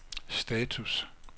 status